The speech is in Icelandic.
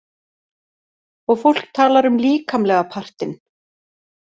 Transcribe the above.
Og fólk talar um líkamlega partinn.